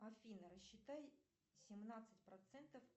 афина рассчитай семнадцать процентов